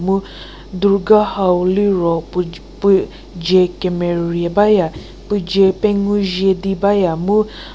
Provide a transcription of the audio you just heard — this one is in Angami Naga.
mu durga hau liro pu pu je kemerie baya pu je pengu zhie di baya mu--